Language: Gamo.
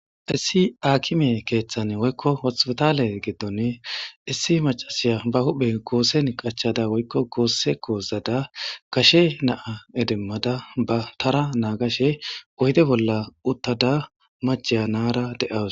Issi aakime keeththan woykko hothpotale geddone issi macasiya ba huhphe goose nqachada woykko goosse koozada kashe naa edemmada ba tara naagashe ohide bolla uttada macheyanara de'awus.